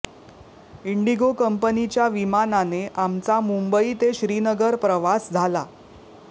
Indigo कंपनीच्या विमानाने आमचा मुंबई ते श्रीनगर प्रवास झाला